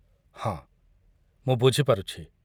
ହଁ, ମୁଁ ବୁଝିପାରୁଛି।